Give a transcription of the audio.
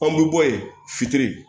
Anw bi bɔ yen fitiri